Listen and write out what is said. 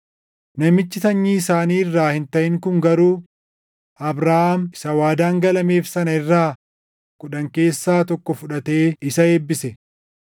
Namichi sanyii isaanii irraa hin taʼin kun garuu Abrahaam isa waadaan galameef sana irraa kudhan keessaa tokko fudhatee isa eebbise.